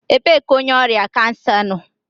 Ebee ka onye ọrịa kansa nọ?